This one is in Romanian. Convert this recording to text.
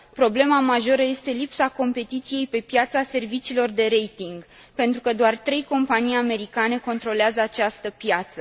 Problema majoră este lipsa concurenței pe piața serviciilor de rating, pentru că doar trei companii americane controlează această piață.